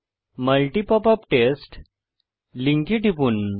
multi popup test লিঙ্কে টিপুন